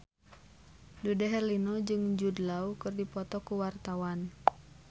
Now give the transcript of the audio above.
Dude Herlino jeung Jude Law keur dipoto ku wartawan